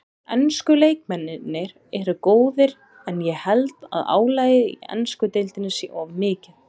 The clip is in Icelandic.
Ensku leikmennirnir eru góðir en ég held að álagið í ensku deildinni sé of mikið.